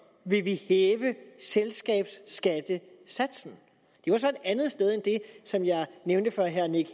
vil vi hæve selskabsskattesatsen det var så et andet sted end det som jeg nævnte for herre nick